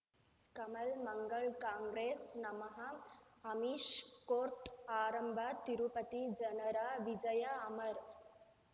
ಕಮಲ್ ಮಂಗಳ್ ಕಾಂಗ್ರೆಸ್ ನಮಃ ಅಮಿಷ್ ಕೋರ್ಟ್ ಆರಂಭ ತಿರುಪತಿ ಜನರ ವಿಜಯ ಅಮರ್